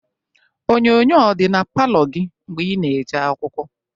Onyoonyoo ọ dị na palọ gị mgbe ị na-eje akwụkwọ?